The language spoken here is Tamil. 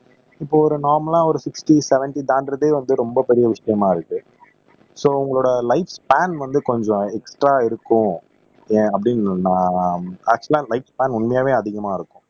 இப்போ ஒரு இப்போ ஒரு நார்மல்லா ஒரு சிக்ஸ்ட்டி செவென்ட்டி தான்டறதே வந்து ரொம்ப பெரிய விஷயமா இருக்கு சோ உங்களோட லைப்ஸ் பேன் வந்து கொஞ்சம் எக்ஸ்ட்ரா இருக்கும் ஏன் அப்படி நான் ஆக்சுவலா லைப் ஸ்பேன் உண்மையாவே அதிகமா இருக்கும்